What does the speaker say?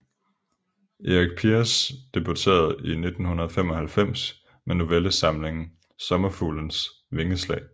Erik Piers debuterede i 1995 med novellesamlingen Sommerfuglens vingeslag